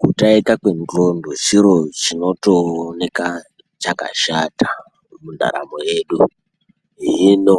Kutaika kwendxondo chiro chinotooneka chakashata mundaramo yedu hino